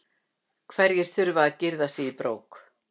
Hverjir þurfa að girða sig í brók?